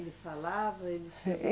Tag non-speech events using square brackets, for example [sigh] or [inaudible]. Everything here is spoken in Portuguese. Ele falava? Ele [unintelligible]